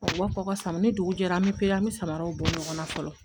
U b'a fɔ ko ka sama ni dugu jɛra an bɛ pere an bɛ samaraw bɔ ɲɔgɔn na fɔlɔ